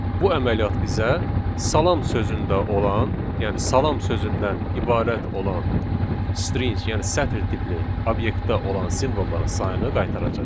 Bu əməliyyat bizə salam sözündə olan, yəni salam sözündən ibarət olan string, yəni sətr tipli obyektdə olan simvolların sayını qaytaracaq.